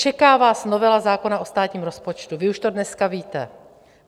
Čeká vás novela zákona o státním rozpočtu, vy už to dneska víte.